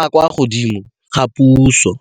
a a kwa godimo a puso.